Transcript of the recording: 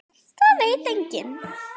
Það veit enginn